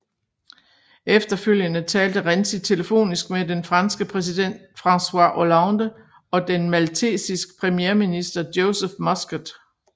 Efterfølgende talte Renzi telefonisk med den franske præsident François Hollande og den maltesisk premierminister Joseph Muscat